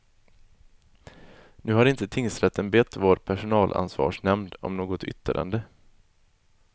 Nu har inte tingsrätten bett vår personalansvarsnämnd om något yttrande.